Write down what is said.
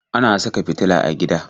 Ana saka fitila a gida